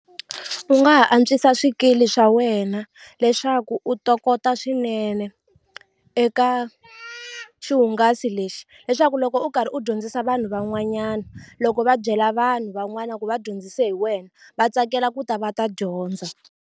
U nga ha antswisa swikili swa wena leswaku u tokoto swinene eka xihungasi lexi leswaku loko u karhi u dyondzisa vanhu van'wanyana loko va byela vanhu van'wana ku va dyondzise hi wena va tsakela ku ta va ta dyondza.